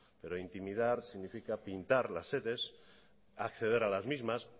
pero intimidar significa pintar las sedes acceder a las mismas